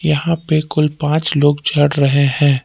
यहां पे कुल पांच लोग चढ़ रहे हैं।